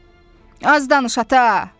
Az danış, ata!